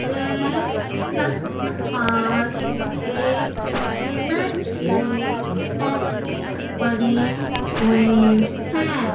वह छत पर एक सीमेंट की टंकी बनी हुई है।